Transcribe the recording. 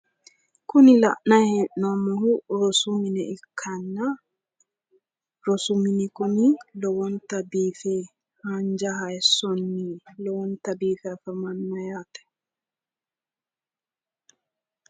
kuni la'nanni hee'noommohu rosu mine ikkanna rosu mini kuni lowonta biife haanja hayiissonni lowonta biife afamanno yaate